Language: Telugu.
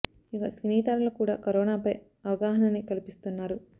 ఇక సినీ తారలు కూడా కరోనా పై అవగాహన ని కల్పిస్తున్నారు